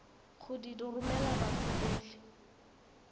go di romela batho botlhe